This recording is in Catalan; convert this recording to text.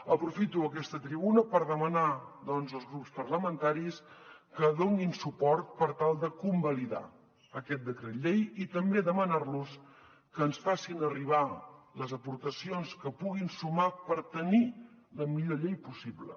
aprofito aquesta tribuna per demanar doncs als grups parlamentaris que donin suport per tal de convalidar aquest decret llei i també per demanar los que ens facin arribar les aportacions que puguin sumar per tenir la millor llei possible